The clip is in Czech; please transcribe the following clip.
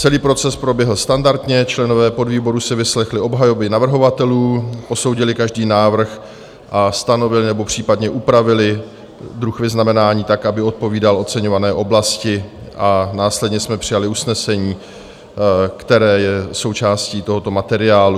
Celý proces proběhl standardně, členové podvýboru si vyslechli obhajoby navrhovatelů, posoudili každý návrh a stanovili nebo případně upravili druh vyznamenání tak, aby odpovídal oceňované oblasti, a následně jsme přijali usnesení, které je součástí tohoto materiálu.